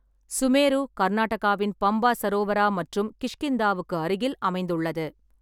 சுமேரு கர்நாடகாவின் பம்பா சரோவரா மற்றும் கிஷ்கிந்தாவுக்கு அருகில் அமைந்துள்ளது.